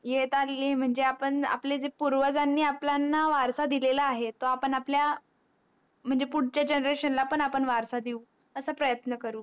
येतणी ये म्हणजे आपण आपल्या जे पूर्वजणी आपल्याला जे वारसा दिला आहे तो आपण आपल्या म्हणजे पुडच्या GENERATION ला पण वारसा देऊ असा आपण प्रयत्न करू